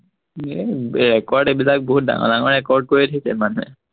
এৰ ৰেকৰ্ড এইবিলাক বহুত ডাঙৰ ডাঙৰ ৰেকৰ্ড কৰি ৰাখিছে মানুহে